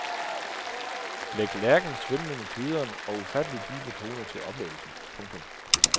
Læg lærkens svimlende kvidren og ufatteligt dybe toner til oplevelsen. punktum